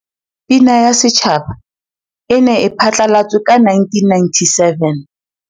Pina ya Setjhaba e ne e phatlalatswe ka 1997.